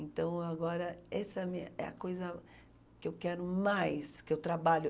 Então, agora, essa é a minha, é a coisa que eu quero mais, que eu trabalho.